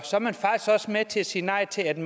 i